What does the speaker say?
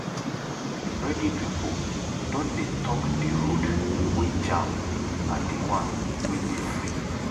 Radio pipo don dey tok di road wey jam and di one wey dey free.